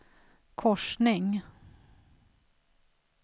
korsning